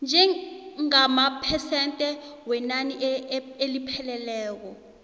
njengamaphesente wenani elipheleleko